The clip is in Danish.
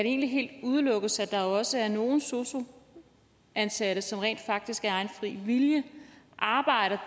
egentlig helt udelukkes at der også er nogle sosu ansatte som rent faktisk af egen fri vilje arbejder